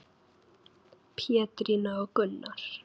Pétrína og Gunnar.